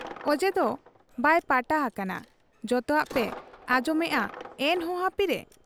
ᱚᱡᱮᱫᱚ ᱵᱟᱭ ᱯᱟᱴᱟ ᱦᱟᱠᱟᱱᱟ ᱾ ᱡᱚᱛᱚᱣᱟᱜ ᱯᱮ ᱟᱸᱡᱚᱢᱮᱜ ᱟ ᱮᱱᱦᱚᱸ ᱦᱟᱹᱯᱤᱨᱮ ?